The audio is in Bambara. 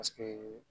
Paseke